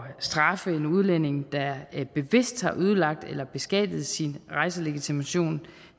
straffe en udlænding der bevidst har ødelagt eller beskadiget sin rejselegitimation